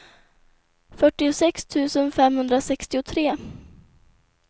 fyrtiosex tusen femhundrasextiotre